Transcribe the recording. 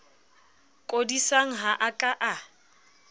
kodisang ha a ka a